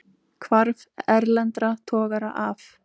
Hvarf erlendra togara af